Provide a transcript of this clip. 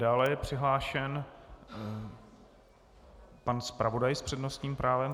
Dále je přihlášen pan zpravodaj s přednostním právem.